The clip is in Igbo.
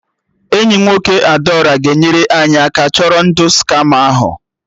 Enyi nwoke Adaora ga-enyere anyị aka chọrọ ndụ skama ahụ